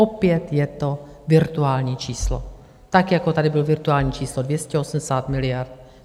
Opět je to virtuální číslo, tak jako tady bylo virtuální číslo 280 miliard.